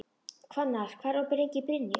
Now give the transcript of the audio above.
Hvannar, hvað er opið lengi í Brynju?